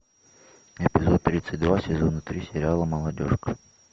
эпизод тридцать два сезона три сериала молодежка